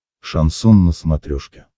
шансон на смотрешке